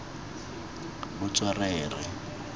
botswerere